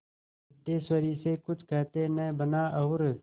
सिद्धेश्वरी से कुछ कहते न बना और